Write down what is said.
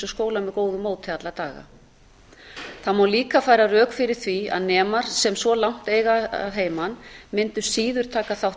með góðu móti alla daga það má líka færa rök fyrir því að nemar sem svo langt eiga að heiman mundu síður taka þátt